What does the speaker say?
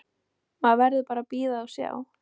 Maður verður bara að bíða og sjá.